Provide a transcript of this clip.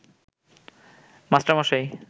master মশাই